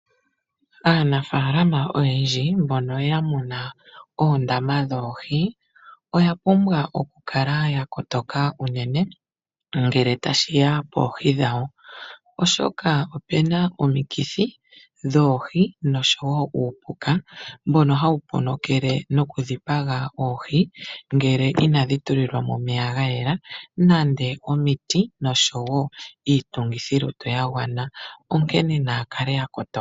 Aanafaalama oyendji mbono ye na oondama dhoohi oya pumbwa okukala ya kotoka unene, ngele tashi ya poohi dhawo, oshoka opu na omikithi dhoohi noshowo uupuka mbono hawu ponokele nokudhipaga oohi ngele inadhi tulilwa mo omeya ga yela nenge omiti noshowo iitungithilutu yagwana, onkene naya kale ya kotoka.